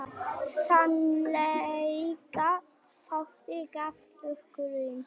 Sennilega þótti greinaflokkurinn